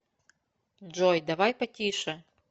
джой давай потише